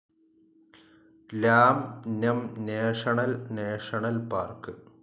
ലാം നം national national park